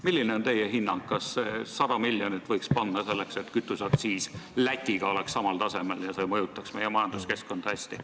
Milline on teie hinnang, kas 100 miljonit võiks juurde panna selleks, et kütuseaktsiis oleks Lätiga samal tasemel, mis mõjuks hästi meie majanduskeskkonnale?